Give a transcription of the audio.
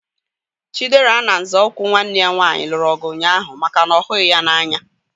Chidera na nzọụkwụ nwanne ya nwaanyị lụrụ ọgụ ụnyaahụ maka na ọ ghughi ya n'anya